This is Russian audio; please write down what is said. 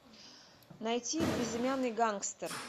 найти безымянный гангстер